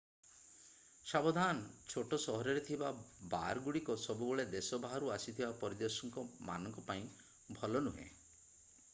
ସାବଧାନ ଛୋଟ ସହରରେ ଥିବା ବାର ଗୁଡିକ ସବୁବେଳେ ଦେଶ ବାହାରୁ ଆସିଥିବା ପରିଦର୍ଶକ ମାନଙ୍କ ପାଇଁ ଭଲ ନୁହେଁ